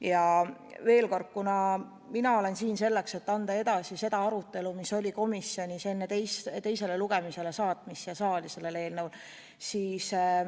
Ja veel kord, mina olen siin selleks, et anda edasi seda arutelu, mis oli komisjonis enne, kui see eelnõu siia saali teisele lugemisele saadeti.